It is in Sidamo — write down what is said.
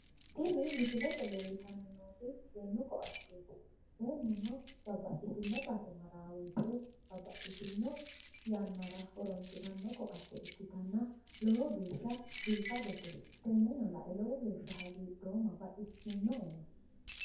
Tini misilete leellitanni nooti seennu ko'atteeti seennuno babbaxxitino base marawo woyite babbaxxitino yannara horoonsiranno ko'atte ikkitanna lowo geesha biifadote teneno la'e lowo geesha hagiidhoomma baxissino'eno